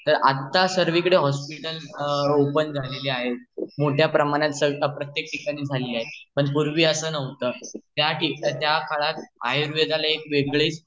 अतर आता सर्वीकडे hospital open झालेले आहेत मोठ्या प्रमाणात प्रत्येक ठिकाणी ओपेन झालेली आहे पण पूर्वी अस नव्हत त्या काळात आयुर्वेदाला एक वेगळच0:10:44.298304 0:10:45.232190 महत्व होत